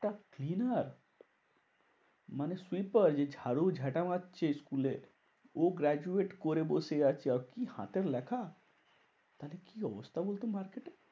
Cleaner মানে sweeper যে ঝাড়ু ঝেটা মারছে school এ। ও graduate করে বসে আছে। আর কি হাতের লেখা? আরে কি অবস্থা বলতো market এর